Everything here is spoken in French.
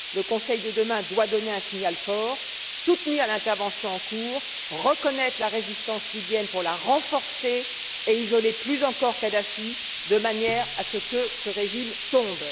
Le Conseil de demain doit donner un signal fort, soutenir l'intervention en cours, reconnaître la résistance libyenne pour la renforcer et isoler plus encore Kadhafi de manière à ce que ce régime tombe.